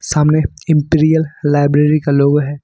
सामने imperial library का logo है।